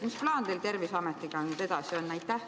Mis plaan teil nüüd Terviseametiga edasi on?